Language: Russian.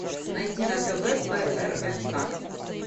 найди на тв прнк